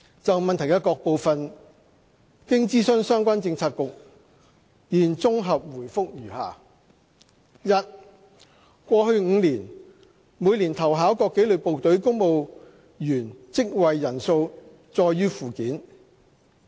就質詢的各部分，經諮詢相關政策局，現綜合答覆如下：一過去5年，每年投考各紀律部隊公務員職位人數載於附件。